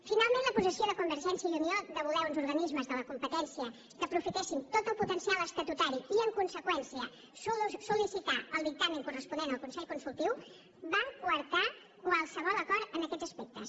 finalment la posició de convergència i unió de voler uns organismes de la competència que aprofitessin tot el potencial estatutari i en conseqüència sol·licitar el dictamen corresponent al consell consultiu van coartar qualsevol acord en aquests aspectes